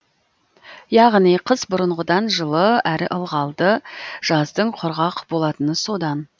яғни қыс бұрынғыдан жылы әрі ылғалды жаздың құрғақ болатыны содан